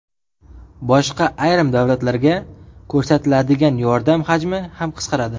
Boshqa ayrim davlatlarga ko‘rsatiladigan yordam hajmi ham qisqaradi.